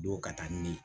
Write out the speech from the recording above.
Don ka taa ni